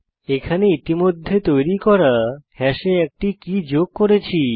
এখানে ইতিমধ্যে তৈরি করা হ্যাশে একটি কী যোগ করছি